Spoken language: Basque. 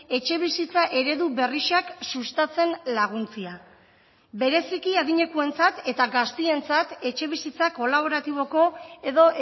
etxebizitza eredu berrixak sustatzen laguntzea bereziki adinekuentzat eta gaztientzat etxebizitza kolaboratiboko edo